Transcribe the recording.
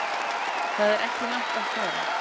Það er ekki langt að fara.